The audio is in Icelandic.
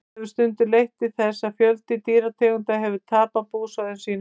þetta hefur stundum leitt til þess að fjöldi dýrategunda hefur tapað búsvæðum sínum